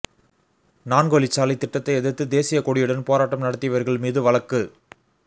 நான்கு வழிச்சாலைத் திட்டத்தை எதிர்த்து தேசியக் கொடியுடன் போராட்டம் நடத்தியவர்கள் மீது வழக்கு